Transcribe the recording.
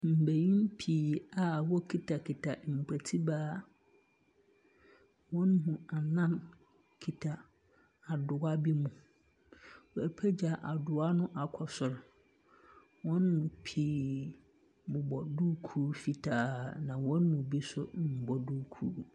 Mbenyin pii a wokitakita mpotibaa. Hɔn mu anan kita adowa bi mu. Wɔapagya adowa no akɔ sor. Wɔn mu pii bobɔ duukuu fitaa, na wɔn mu bi nso mbɔ duukuu.